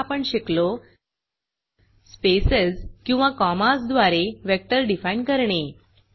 पाठात आपण शिकलो स्पेसेज किंवा कॉमाज द्वारे वेक्टर डिफाईन करणे